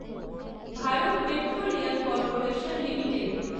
Bharat petroleum corporation limited